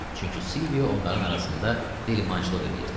Çünki Silvio onların arasında dəlimançılıq eləyirdi.